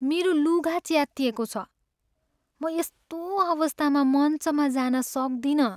मेरो लुगा च्यातिएको छ। म यस्तो अवस्थामा मञ्चमा जान सक्दिनँ।